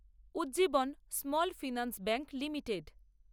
Ujjivan small finance bank limited